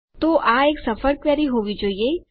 તો આ એક સફળ ક્વેરી હોવી જોઈએ